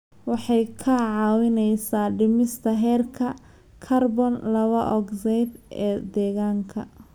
Waxay kaa caawinaysaa dhimista heerka kaarboon laba ogsaydh ee deegaanka.